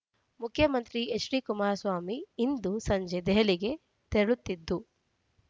ಮುಖ್ಯಮಂತ್ರಿ H D Kumaraswamy ಇಂದು ಸಂಜೆ ದೆಹಲಿಗೆ ತೆರಳುತ್ತಿತ್ತು